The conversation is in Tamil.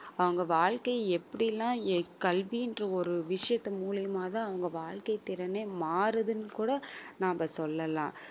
அவங்க வாழ்க்கையை எப்படி எல்லாம் எர் கல்வின்ற ஒரு விஷயத்து மூலியமாதான் அவங்க வாழ்க்கை திறனே மாறுதுன்னு கூட நாம சொல்லலாம்